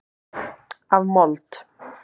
Af mold.